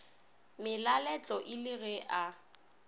malalatle e le ge a